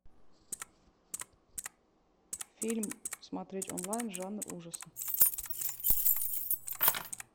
фильм смотреть онлайн жанр ужасы